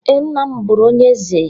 Ee, nna m bụrụ onye eze.